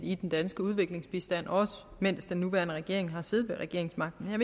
i den danske udviklingsbistand også mens den nuværende regering har siddet på regeringsmagten jeg